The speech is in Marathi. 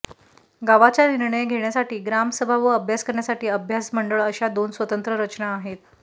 गावाच्या निर्णय घेण्यासाठी ग्रामसभा व अभ्यास करण्यासाठी अभ्यास मंडळ अशा दोन स्वतंत्र रचना आहेत